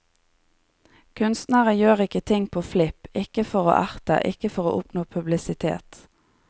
Kunstnere gjør ikke ting på flipp, ikke for å erte, ikke for å oppnå publisitet.